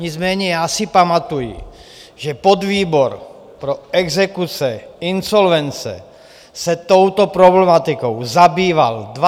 Nicméně já si pamatuji, že podvýbor pro exekuce, insolvence se touto problematikou zabýval 20. dubna.